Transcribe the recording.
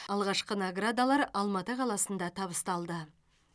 алғашқы наградалар алматы қаласында табысталды